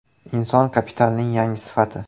Inson kapitalining yangi sifati.